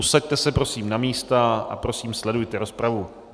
Usaďte se prosím na místa a prosím, sledujte rozpravu.